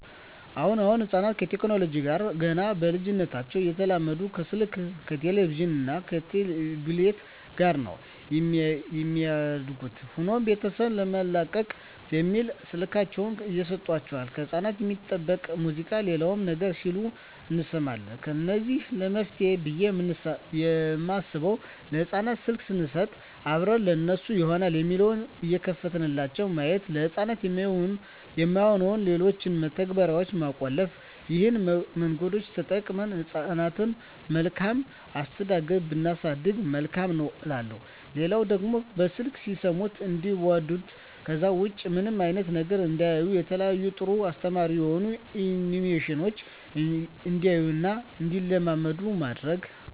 አሁን አሁን ህጻናት ከቴክኖለጂው ጋር ገና በልጂነታቸው እየተላመዱ ከስልክ ከቲቪ እና ከታብሌት ጋር ነው የሚያድጉት። ሆኖም ቤተሰብ ለመላቀቅ በሚል ስልካቸውን እየሰጦቸው ከህጻናት የማይጠበቅ ሙዚቃ ሌላም ነገር ሲሉ እንሰማለን ለዚህ መፍትሄ ብየ የማስበው ለህጻናት ስልክ ሰንሰጥ አብረን ለነሱ ይሆናል የሚለውን እየከፈትንላቸው ማየት፤ ለህጻናት የማይሆኑትን ሌሎችን መተግበርያዋች መቆለፍ ይህን መንገዶች ተጠቅመን ህጻናትን በመልካም አስተዳደግ ብናሳድግ መልካም ነው እላለሁ። ሌላው ደግሞ በስልክ ሲሰሙት እንዲዋዱት ከዛ ውጭ ምንም አይነት ነገር እንዳያዩ የተለያዩ ጥሩ እና አስተማሪ የሆኑ አኒሜሽኖችን እንዲያዩ እና እንዲለምዱ ማድረግ።